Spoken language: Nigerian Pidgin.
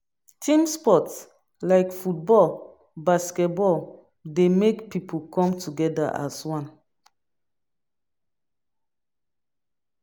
Team sport like football, basket ball dey make pipo come together as one